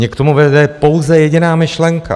Mě k tomu vede pouze jediná myšlenka.